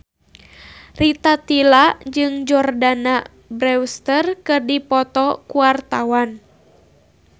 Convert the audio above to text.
Rita Tila jeung Jordana Brewster keur dipoto ku wartawan